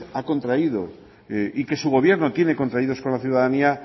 ha contraído y que su gobierno tiene contraído con la ciudadanía